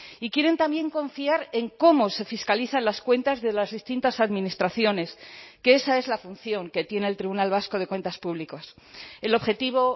y quieren también confiar en cómo se fiscalizan las cuentas de las distintas administraciones que esa es la función que tiene el tribunal vasco de cuentas públicas el objetivo